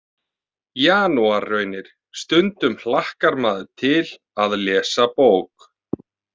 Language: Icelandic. Janúarraunir Stundum hlakkar maður til að lesa bók.